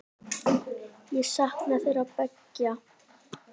Ég sakna þeirra beggja.